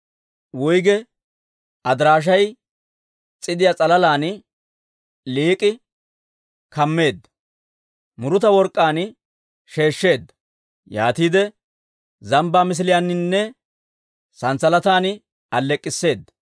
Wuygge adaraashiyaa s'idiyaa s'alalan lik'i kammeedda; muruta work'k'aan sheeshsheedda; yaatiide zambbaa misiliyaaninne sanssalatan alleek'k'isseeda.